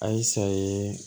A y'i sa ye